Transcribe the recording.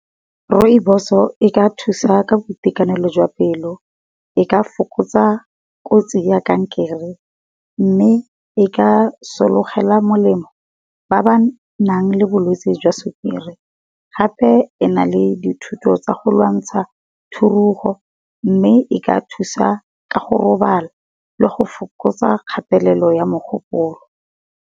Rooiboso e ka thusa ka boitekanelo jwa pelo e ka fokotsa kotsi ya kankere. Mme e ka sologela molemo ba ba nang le bolwetsi jwa sukiri, gape ena le dithuto tsa go lwantsha thurugo, mme e ka thusa ka go robala le go fokotsa kgatelelo ya mogopolo.